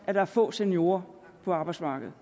at der er få seniorer på arbejdsmarkedet